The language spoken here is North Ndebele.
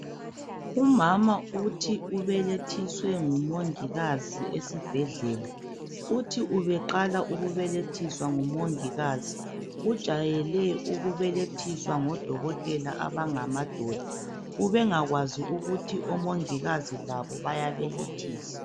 Umama uthi ubelethiswe ngumongikazi esibhedlela . Uthi ubeqala ukubelethiswa ngumongikazi . Ujayele ukubelethiswa ngodoskotela abangamadoda .Ubengakwazi ukuthi omongikazi labo bayabelethisa.